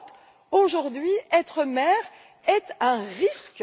En Europe, aujourd'hui, être mère est un risque!